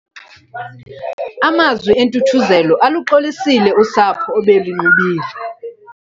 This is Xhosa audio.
Amazwi entuthuzelo aluxolisile usapho obelunxubile.